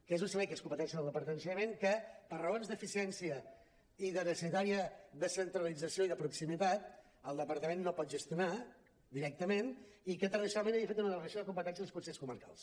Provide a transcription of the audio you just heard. que és un servei que és competència del departament d’ensenyament que per raons d’eficiència i de necessària descentralització i de proximitat el departament no pot gestionar directament i que tradicionalment ha fet una delegació de competències als consells comarcals